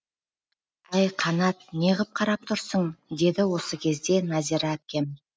әй қанат неғып қарап тұрсың деді осы кезде нәзира әпкем